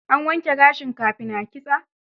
An wanke gashin kafin a kitsa?